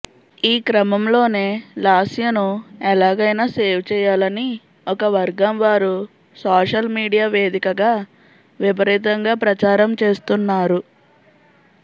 ఈ క్రమంలోనే లాస్యను ఎలాగైనా సేవ్ చేయాలని ఒక వర్గం వారు సోషల్ మీడియా వేదికగా విపరీతంగా ప్రచారం చేస్తున్నారు